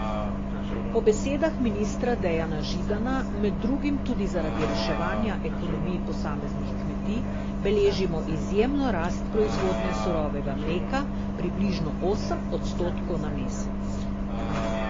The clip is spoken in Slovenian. Po besedah ministra Dejana Židana med drugim tudi zaradi reševanja ekonomij posameznih kmetij beležimo izjemno rast proizvodnje surovega mleka, približno osem odstotkov na mesec.